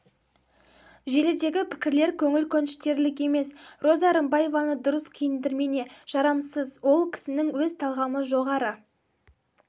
желідегі пікірлер көңіл көншітерлік емес роза рымбаеваны дұрыс киіндірмене жарасымсыз ол кісінің өз талғамы жоғары